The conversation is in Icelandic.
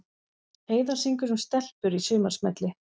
Heiða syngur um stelpur í sumarsmelli